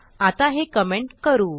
आता हे कमेंट करू